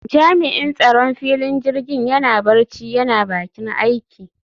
Jami'in tsaron filin jirgin yana barci yana bakin aiki